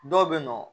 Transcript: Dɔw bɛ yen nɔ